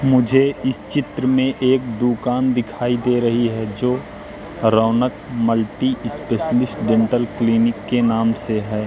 मुझे इस चित्र में एक दुकान दिखाई दे रही है जो Raunak multi specialist dental clinic के नाम से है।